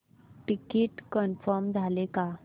ticket confirm झाले का